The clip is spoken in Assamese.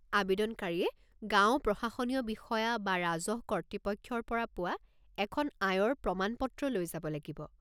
আৱেদনকাৰীয়ে গাঁও প্ৰশাসনীয় বিষয়া বা ৰাজহ কৰ্তৃপক্ষৰ পৰা পোৱা এখন আয়ৰ প্ৰমাণ পত্ৰ লৈ যাব লাগিব।